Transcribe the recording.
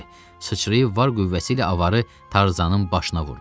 Sıçrayıb var qüvvəsi ilə avarı Tarzanın başına vurdu.